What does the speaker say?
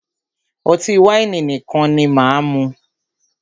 Ọtí wáìnì nìkan ni máà mú.